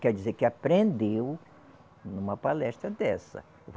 Quer dizer que aprendeu numa palestra dessa.